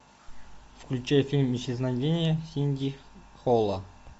включай фильм исчезновение сидни холла